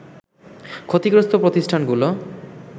ক্ষতিগ্রস্ত প্রতিষ্ঠানগুলো